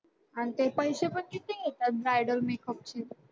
आणि ते पैशे पण किती घेतात bridal makeup चे.